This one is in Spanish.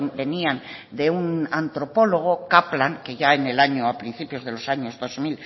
venían de un antropólogo kaplan que ya en el año a principio de los años dos